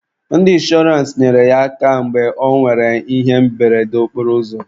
Ndị inshọrance nyere ya aka mgbe ọ nwere ihe mberede okporoụzọ.